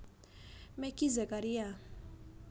Meggy Zakaria